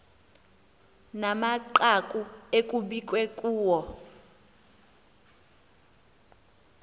namanqaku ekukbiwe kuwo